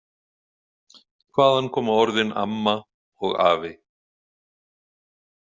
Hvaðan koma orðin AMMA og AFI?